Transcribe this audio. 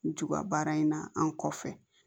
Ju baara in na an kɔfɛ